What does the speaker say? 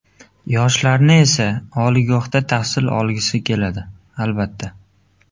Yoshlarni esa, oliygohda tahsil olgisi keladi, albatta.